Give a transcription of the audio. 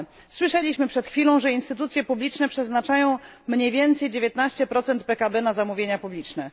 Słyszeliśmy przed chwilą, że instytucje publiczne przeznaczają mniej więcej 19 PKB na zamówienia publiczne.